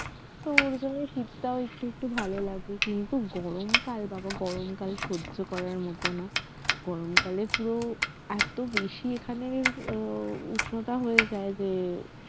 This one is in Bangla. তো এরজন্যই শীতকাল একটু একটু ভাল লাগে কিন্তু গরমকাল বাবা গরমকাল সহ্য করার মতো না গরমকালে পুরো এত বেশি এখানে আহ উষ্ণতা হয়ে যায় যে